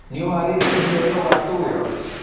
Nĩũharĩĩrĩe ũrĩa ũgatwĩra?